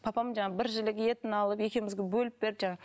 папам жаңағы бір жілік етін алып екеумізге бөліп берді жаңағы